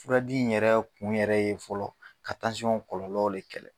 Furadi in yɛrɛ kun yɛrɛ ye fɔlɔ ka kɔlɔlɔw de kɛlɛ